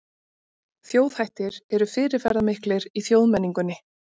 Þjóðhættir eru fyrirferðamiklir í þjóðmenningunni.